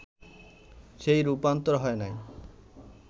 সেই রূপান্তর হয় নাই